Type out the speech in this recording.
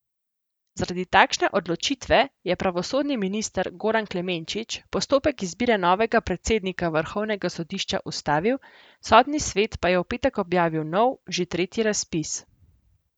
Zaradi takšne odločitve je pravosodni minister Goran Klemenčič postopek izbire novega predsednika vrhovnega sodišča ustavil, Sodni svet pa je v petek objavil nov, že tretji, razpis.